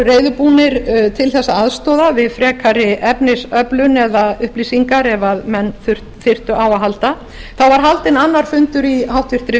reiðubúnir til að aðstoða við frekari efnisöflun eða upplýsingar ef menn þyrftu á að halda þá var haldinn annar fundur í háttvirtri